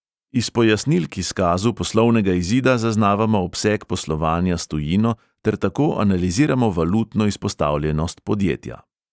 Iz pojasnil k izkazu poslovnega izida zaznavamo obseg poslovanja s tujino ter tako analiziramo valutno izpostavljenost podjetja.